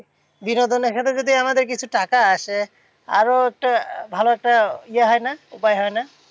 বিনোদনের সাথে যদি আমাদের কিছু টাকা আসে আরো একটা ভালো একটা ইয়ে হয় না? উপায় হয় না?